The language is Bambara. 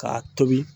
K'a tobi